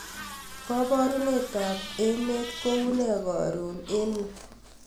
koborunrt ab emet kounee korun en yu